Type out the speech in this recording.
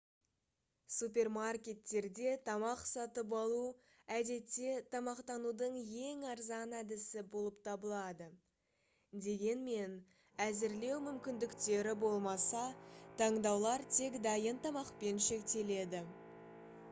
супермаркеттерде тамақ сатып алу әдетте тамақтанудың ең арзан әдісі болып табылады дегенмен әзірлеу мүмкіндіктері болмаса таңдаулар тек дайын тамақпен шектеледі